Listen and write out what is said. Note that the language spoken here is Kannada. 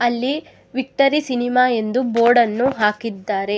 ಅಲ್ಲಿ ವಿಕ್ಟರಿ ಸಿನಿಮಾ ಎಂದು ಬೋರ್ಡನ್ನು ಹಾಕಿದ್ದಾರೆ.